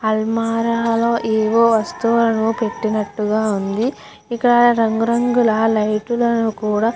అల్మారాలో ఏవో వస్తువులను పెట్టినట్టుగా ఉంది ఇక్కడ రంగురంగుల లైటు లను కూడా --